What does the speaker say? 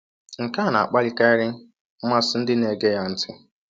Nke a na-akpalikarị mmasị ndị na-ege ya ntị.